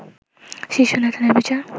শীর্ষ নেতাদের বিচার